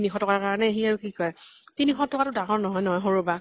তিনি শ টকাৰ কাৰণে সি কি কয় তিনি শ টকা টো ডাঙৰ নহয় নে সৰু বা